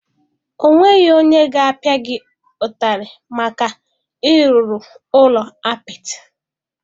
Ọ nweghị onye ga-apịa gị ụtarị maka ịrụrụ ụlọ apịtị?